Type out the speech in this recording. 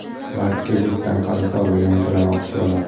Va kreditdan qarzdorligidan to‘lamoqchi bo‘ladi.